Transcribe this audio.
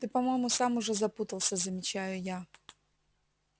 ты по-моему сам уже запутался замечаю я